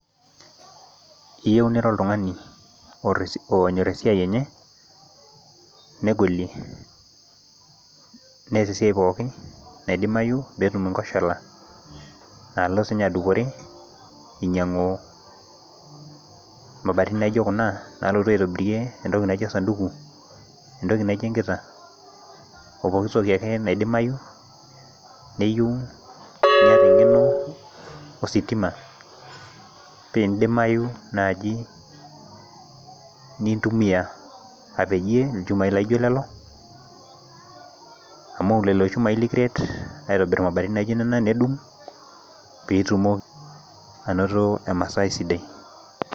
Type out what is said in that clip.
iyieu nira oltungani onyor esiai enye negolie neyas esiai pooki nadimayu pee etu inkoshola, nlo sii ninye adupore inyang'u imabatini naijo kuna naa lotu aitobirie entoki naijo osaduku, entoki naijo egita opokitoki ake naidimayu neyieu neeta eng'eno ositima pii idimayu naaji nintumiya apajie ilchumai laijio lelo, amu lelo shumai likiret adung ibaoi naijio nena pee itumoki anato emasai sidai.